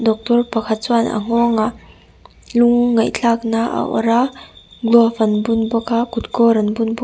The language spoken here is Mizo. doctor pakhat chuan a nghawngah lung ngaihthlak na a awrh a gloves an bun bawk a kut kawr an bun bawk --